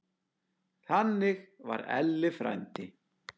Þannig var Elli frændi.